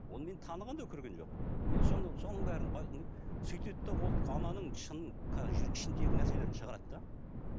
оны мені таныған да көрген жоқ мен сонда соның бәрін сөйтеді де ол ананың шынын ішіндегі нәрселерін шығарады да